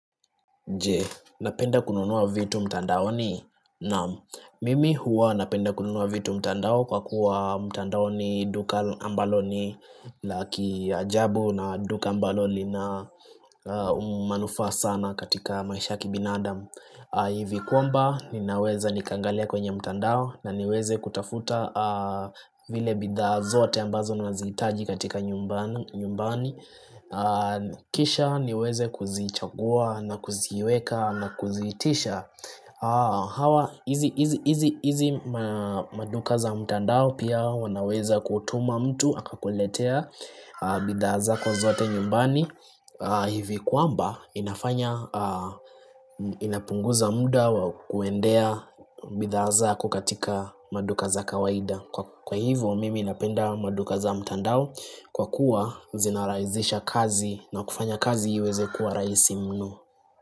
Je, napenda kununua vitu mtandaoni? Naam, mimi huwa napenda kununua vitu mtandao kwa kuwa mtandao ni duka ambalo ni laki ajabu na duka ambalo lina umanufa sana katika maisha kibinadam hivi kwamba, ninaweza nikaangalia kwenye mtandao na niweze kutafuta vile bidhaa zote ambazo nazihitaji katika nyumbani kisha niweze kuzichagua na kuziweka na kuziitisha hawa hizi maduka za mtandao pia wanaweza kutuma mtu akakuletea bidhaa zako zote nyumbani hivi kwamba inafanya inapunguza muda wa kuendea bidhaa zako katika maduka za kawaida kwa hivyo mimi napenda maduka za mtandao kwa kuwa zinaraizisha kazi na kufanya kazi iweze kuwa rahisi mno.